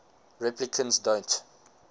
replicants don't